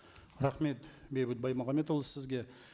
рахмет бейбіт баймағамбетұлы сізге